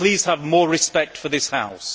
Please have more respect for this House.